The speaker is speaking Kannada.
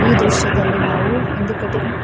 ಈ ದೃಶ್ಯದಲ್ಲಿ ನಾವು ಒಂದು ಕಟ್ಟಿಂಗ್ --